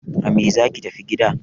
A me zaki tafi gida!